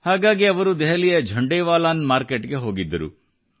ಹಾಗಾಗಿ ಅವರು ದೆಹಲಿಯ ಝಂಡೆವಾಲಾ ಮಾರುಕಟ್ಟೆಗೆ ಹೋಗಿದ್ದರು